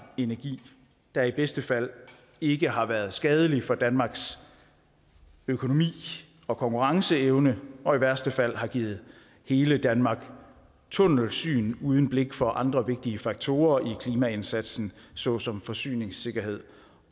energi der i bedste fald ikke har været skadelig for danmarks økonomi og konkurrenceevne og i værste fald har givet hele danmark tunnelsyn uden blik for andre vigtige faktorer i klimaindsatsen såsom forsyningssikkerhed